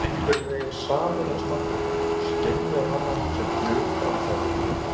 Maður einhvern veginn sameinast náttúrunni, skynjar hana sem hluta af sjálfum sér.